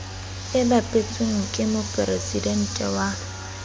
e bapetsweng ke moporesidente wa